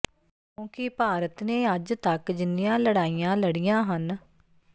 ਕਿੳਂੁਕਿ ਭਾਰਤ ਨੇ ਅੱਜ ਤੱਕ ਜਿੰਨੀਆਂ ਲੜਾਈਆਂ ਲੜੀਆਂ ਹਨ